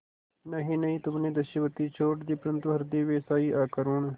नहीं नहीं तुमने दस्युवृत्ति छोड़ दी परंतु हृदय वैसा ही अकरूण